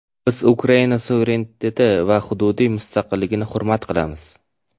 Biz Ukraina suvereniteti va hududiy mustaqilligini hurmat qilamiz.